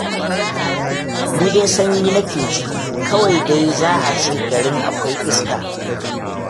Ni dai sanyi nake ji, kawai dai za a ce garin akwai iska.